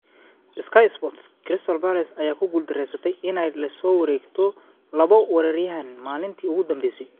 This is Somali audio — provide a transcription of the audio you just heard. (Sky Sports) Crystal Palace ayaa ku guuldareysatay inay la soo wareegto labo weeraryahan maalintii ugu dambeysay.